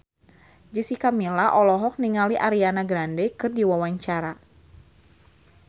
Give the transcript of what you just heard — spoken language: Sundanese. Jessica Milla olohok ningali Ariana Grande keur diwawancara